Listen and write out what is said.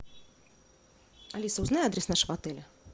алиса узнай адрес нашего отеля